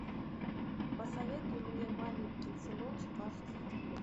посоветуй мне маменькин сыночек аш ди